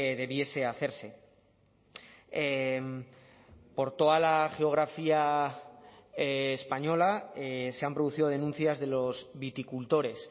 debiese hacerse por toda la geografía española se han producido denuncias de los viticultores